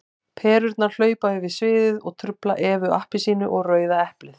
Perurnar hlaupa yfir sviðið og trufla Evu appelsínu og Rauða eplið.